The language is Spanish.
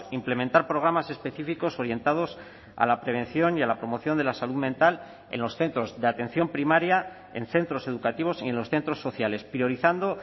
implementar programas específicos orientados a la prevención y a la promoción de la salud mental en los centros de atención primaria en centros educativos y en los centros sociales priorizando